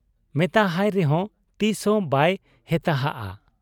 ᱢᱮᱛᱟᱦᱟᱭ ᱨᱮᱦᱚᱸ ᱛᱤᱥᱦᱚᱸ ᱵᱟᱭ ᱦᱮᱛᱟᱦᱟᱜ ᱟ ᱾